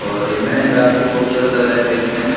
और ये महल काफी ख़ूबसूरत लग रहा देखने में --